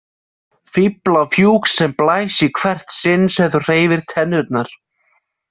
Fíflafjúk sem blæs í hvert sinn sem þú hreyfir tennurnar.